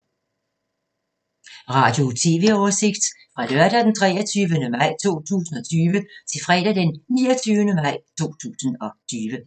Radio/TV oversigt fra lørdag d. 23. maj 2020 til fredag d. 29. maj 2020